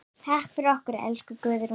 Takk fyrir okkur, elsku Guðrún.